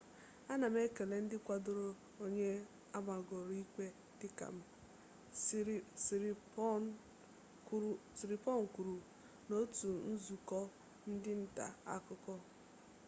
ana m ekele ndị kwadoro onye amagoro ikpe dịka m siriporn kwuru n'otu nzukọ ndị nta akụkọ